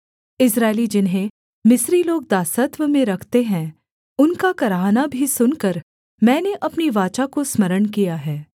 इस्राएली जिन्हें मिस्री लोग दासत्व में रखते हैं उनका कराहना भी सुनकर मैंने अपनी वाचा को स्मरण किया है